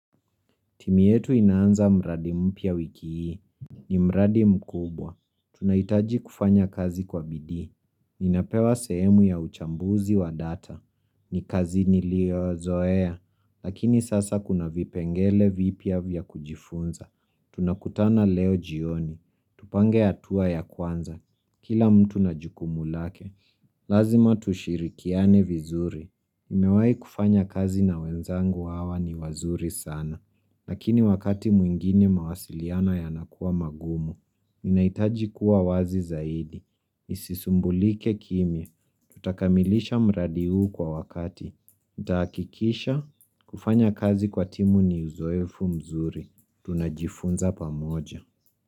Timyi yetu inaanza mradi mpya wiki hii. Ni mradi mkubwa. Tunahitaji kufanya kazi kwa bidii Ninapewa sehemu ya uchambuzi wa data. Ni kazi niliyo zoea. Lakini sasa kuna vipengele vipya vya kujifunza. Tunakutana leo jioni. Tupange hatua ya kwanza. Kila mtu na jukumu lake. Lazima tushirikiane vizuri. Nimewa i kufanya kazi na wenzangu hawa ni wazuri sana. Lakini wakati mwingine mawasiliano yanakuwa magumu. Ninahitaji kuwa wazi zaidi. Isisumbulike kimi. Tutakamilisha mradi huu kwa wakati. Itahakikisha kufanya kazi kwa timu ni uzoefu mzuri. Tunajifunza pamoja.